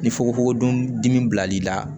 Ni fugofugo don dimi bila l'i la